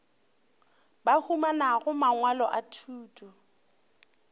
ba humanago mangwalo a thuto